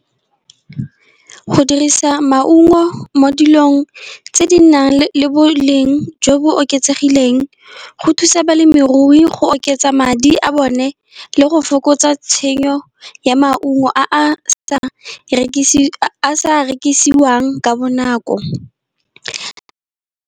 Go dirisa maungo mo dilong tse di nang le boleng jo bo oketsegileng, go thusa balemirui go oketsa madi a bone. Le go fokotsa tshenyo ya maungo a a sa rekisiwang ka bonako.